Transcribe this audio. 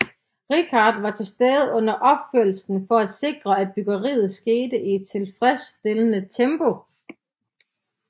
Richard var tilstede under opførelsen for at sikre at byggeriet skete i et tilfredsstillende tempo